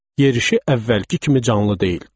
Yerişi əvvəlki kimi canlı deyildi.